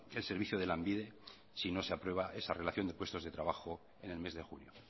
el servicio de lanbide si no se aprueba esa relación de puestos de trabajo en el mes de junio